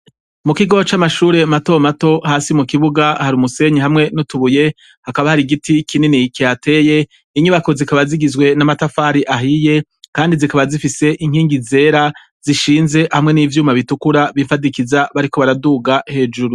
Mu kigo c'amashure matomato hasi mu kibuga hari umusenyi hamwe n'utubuye hakaba hari igiti kinini kyateye inyubako zikaba zigizwe n'amatafari ahiye, kandi zikaba zifise inkingi zera zishinze hamwe n'ivyuma bitukura bifadikiza bariko baraduga hejuru.